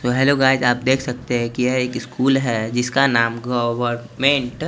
तो hello guys आप देख सकते हैं की यह एक स्कूल हैं जिसका नाम गवर्नमेंट --